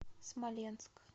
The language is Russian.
смоленск